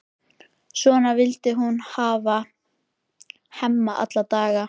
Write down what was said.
Svona vildi hún hafa Hemma alla daga.